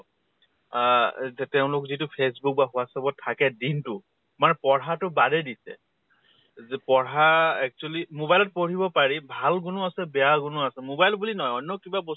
আহ এ তে তেওঁলোক যিটো ফেচ্বূক বা WhatsApp ত থাকে দিন টো মানে পঢ়া তো বাদে দিছে । যে পঢ়া actually mobile ত পঢ়িব পাৰি, ভাল গুনো আহে বেয়া গুনো আছে। mobile বুলি নহয় অন্য় কিবা বস্তু